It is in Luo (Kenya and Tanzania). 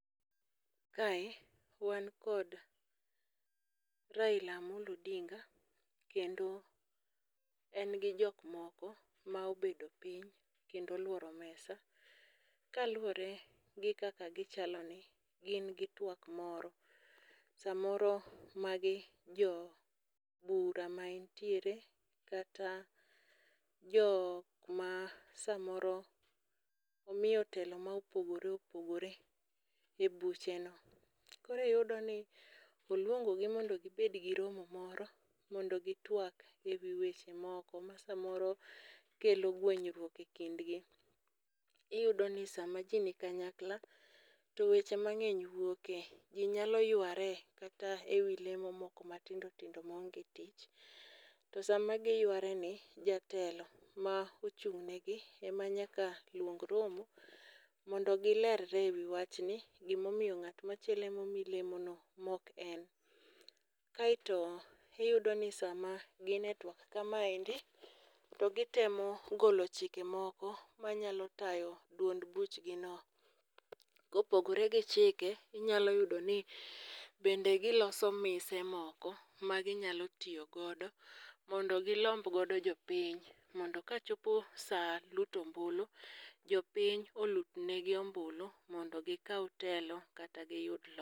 Kae wan kod Raila Amollo Odinga, kendo en gi jok moko ma obedo piny, kendo olworo mesa. Ka luwore gi kaka gichaloni, gin gi twak moro. Samoro magi jo bura ma entiere, kata jo ma samoro omiyo telo ma opogore opogore e buche no. Koro iyudo ni oluongo gi mondo gibed gi romo moro mondo gitwak e wi weche moko masamoro kelo gwenyruok e kindgi. Iyudo ni sama ji ni kanyakla to weche mang'eny wuoke. Ji nyalo yware kata e wi lemo moko matindo tindo maonge tich. To sama giyware ni, jatelo ma ochung' negi ema nyaka luong romo, mondo gilerre e wi wachni. Gima omiyo ng'at machielo em omi lemo no mok en. Kaeto iyudo ni sama gine twak kamaendi to gitemo golo chike moko manyalo tayo duond buchgi no. Kopogore gi chike, inyalo yudo ni bende giloso mise moko ma ginyalo tiyo godo mondo gilomb godo jopiny. Mondo ka chopo sa luto ombulu, jopiny olutnegi ombulu, mondo gikaw telo kata giyud loch.